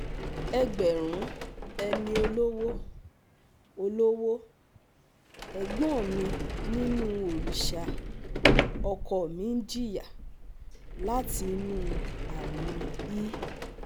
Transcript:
Ẹgbẹ́rún ẹni olówó́, olówó́, Ẹ̀gbọ́n mi nínú òrìṣà ọ̀kọ mi ń jìyà láti inú àrùn E